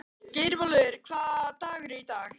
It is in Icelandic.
Geirólfur, hvaða dagur er í dag?